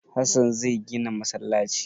Hassan zai gina masallaci.